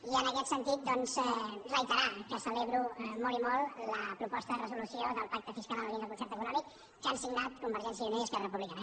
i en aquest sentit doncs reiterar que celebro molt i molt la proposta de resolució del pacte fiscal en la línia del concert econòmic que han signat convergència i unió i esquerra republicana